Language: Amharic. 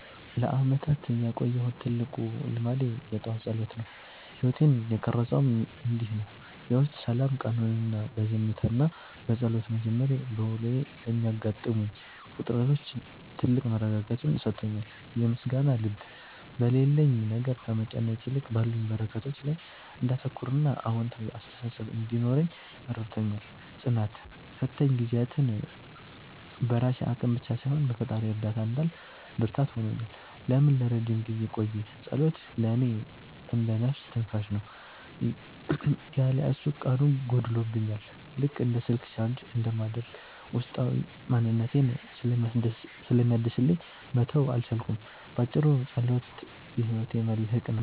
ለዓመታት ያቆየሁት ትልቁ ልማዴ የጠዋት ጸሎት ነው። ሕይወቴን የቀረፀውም እንዲህ ነው፦ የውስጥ ሰላም፦ ቀኑን በዝምታና በጸሎት መጀመሬ፣ በውሎዬ ለሚገጥሙኝ ውጥረቶች ትልቅ መረጋጋትን ሰጥቶኛል። የምስጋና ልብ፦ በሌለኝ ነገር ከመጨነቅ ይልቅ ባሉኝ በረከቶች ላይ እንዳተኩርና አዎንታዊ አስተሳሰብ እንዲኖረኝ ረድቶኛል። ጽናት፦ ፈታኝ ጊዜያትን በራሴ አቅም ብቻ ሳይሆን በፈጣሪ እርዳታ እንዳልፍ ብርታት ሆኖኛል። ለምን ለረጅም ጊዜ ቆየ? ጸሎት ለእኔ እንደ "ነፍስ ትንፋሽ" ነው። ያለ እሱ ቀኑ ጎድሎብኛል፤ ልክ እንደ ስልክ ቻርጅ እንደማድረግ ውስጣዊ ማንነቴን ስለሚያድስልኝ መተው አልቻልኩም። ባጭሩ፣ ጸሎት የሕይወቴ መልሕቅ ነው።